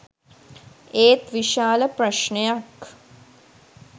ඒත් විශාල ප්‍රශ්නයක්